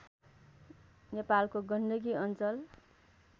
नेपालको गण्डकी अञ्चल